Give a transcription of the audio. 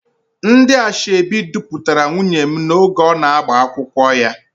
Ndị asoebi dupụtara nwunye m oge ọ na-agba akwụkwọ ya.